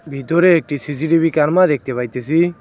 ভিতরে একটি সি_সি_টি_ভি কার্মা দেখতে পাইতেসি।